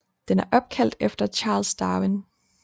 Den er opkaldt efter Charles Darwin